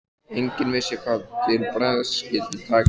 Enginn vissi hvað til bragðs skyldi taka.